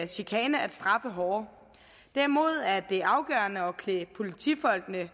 chikane at straffe hårdere derimod er det afgørende at klæde politifolkene